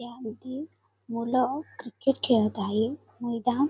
यामधी मुलं क्रिकेट खेळत आहे मैदान --